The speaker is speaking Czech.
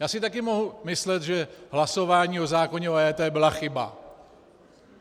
Já si také mohu myslet, že hlasování o zákoně o EET byla chyba.